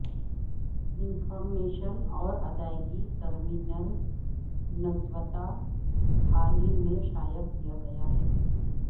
information اور ادائیگی terminals نسبتا حال ہی میں شائع کیا ہے